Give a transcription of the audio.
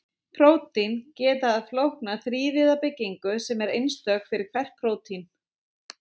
prótín geta haft flókna þrívíða byggingu sem er einstök fyrir hvert prótín